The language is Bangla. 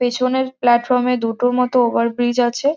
পেছনের প্ল্যাটফর্ম -এ দুটোর মতো ওভারব্রিজ আছে।